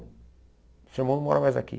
Seu irmão não mora mais aqui.